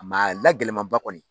a la gɛlɛmaba kɔni.